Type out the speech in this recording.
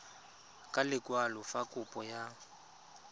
ka lekwalo fa kopo ya